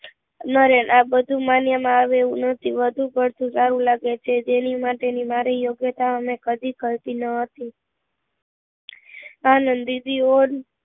અમારે આ બધું માન્ય માં આવે એવું નથી વધુ પડતું સારું લાગે જે જેની માટે ની મારી યોગ્યતા ઓ ને ખરતી ના હતી આનંદ દીદી ઓ